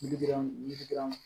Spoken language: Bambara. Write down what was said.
Yiri girinma yiri yiriden